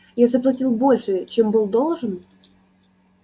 я заплатил больше чем был должен